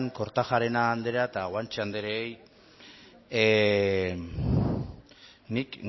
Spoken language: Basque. kortajarena andrea eta guanche andreei nik